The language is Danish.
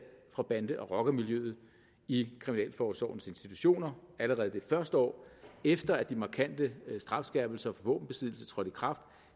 fra bande og rockermiljøet i kriminalforsorgens institutioner allerede det første år efter at de markante strafskærpelser for våbenbesiddelse trådte i kraft